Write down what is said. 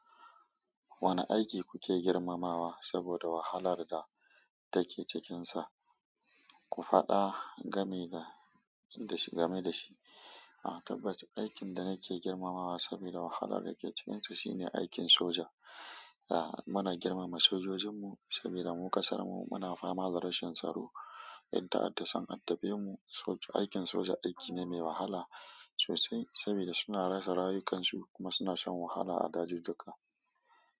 Wane aiki kuke girmamawa saboda wahalar da take cikinsa? Ku faɗa, game da shi, game da shi. A tabbas, aikin da nake girmamawa saboda wahalar da ke cikinsa shine aikin soja. Muna girmama sojojinmu saboda mu ƙasarmu muna fama da rashin tsaro, yan ta'adda son addabe mu. Aikin soja aiki ne mai wahala sosai saboda suna rasa rayukansu kuma suna shan wahala a dajin duka.